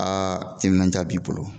Aa timinanja b'i bolo